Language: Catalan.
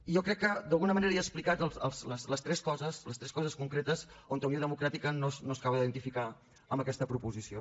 jo crec que d’alguna manera he explicat les tres coses concretes on unió democràtica no s’acaba d’identificar amb aquesta proposició